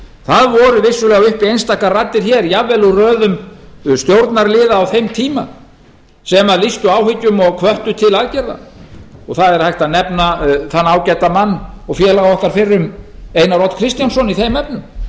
það voru vissulega uppi einstaka raddir hér jafnvel úr röðum stjórnarliða á þeim tíma sem lýstu áhyggjum og hvöttu til aðgerða það er hægt að nefna þann ágæta mann og félaga okkar fyrrum einar odd kristjánsson í þeim efnum